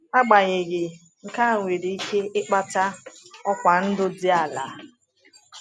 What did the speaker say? Agbanyeghị, nke a nwere ike ịkpata ọkwa ndụ dị ala.